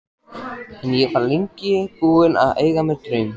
En ég var lengi búin að eiga mér draum.